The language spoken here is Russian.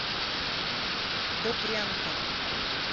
добрянка